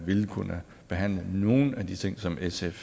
vil kunne behandle nogle af de ting som sf